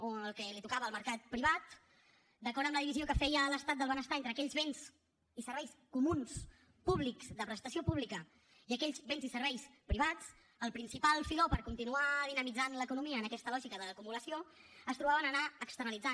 o el que li tocava al mercat privat d’acord amb la divisió que feia l’estat del benestar entre aquells béns i serveis comuns públics de prestació pública i aquells béns i serveis privats el principal filó per continuar dinamitzant l’economia en aquesta lògica d’acumulació es trobava en anar externalitzant